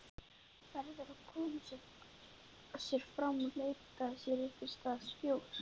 Verður að koma sér áfram, leita sér einhvers staðar skjóls.